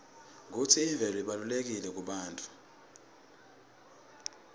kutsi imvelo ibalulekile kubantfu